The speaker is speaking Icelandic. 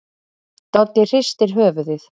Doddi hristir höfuðið.